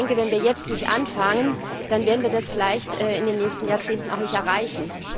Aber wenn wir jetzt nicht anfangen, dann werden wir das vielleicht in den nächsten Jahrzehnten auch nicht erreichen.